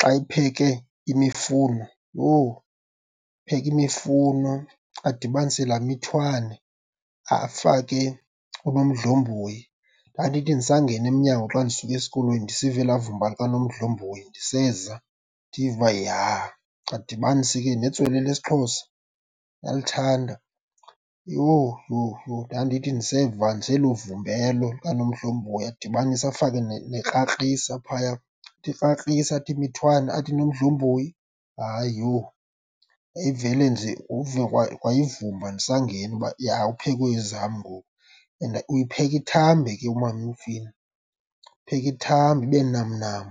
Xa epheke imifuno, yho! Apheke imifuno adibanise laa mithwane, afake oonomdlomboyi. Ndandithi ndisangena emnyango xa ndisuka esikolweni ndisiva elaa vumba likanomdlomboyi ndiseza, ndive uba ja. Adibanise ke netswele lesiXhosa, uyalithanda. Yho, yho, yho ndandithi ndiseva nje elo vumba elo likanomdlomboyi, adibanise afake nekrakrisa phaya. Athi krakrisa, athi mithwane athi nomdlomboyi, hayi yho, yayivele nje uve kwa, kwa ivumba ndisangena uba ja kuphekwe ezam ngoku. And uyipheka ithambe ke umama imifino, uyipheka ithambe, ibe namnam,